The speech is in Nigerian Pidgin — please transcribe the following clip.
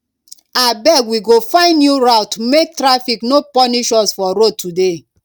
abeg we go find new route make taffic no punish us for road today